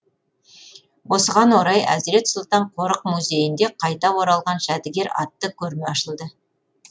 осыған орай әзірет сұлтан қорық музейінде қайта оралған жәдігер атты көрме ашылды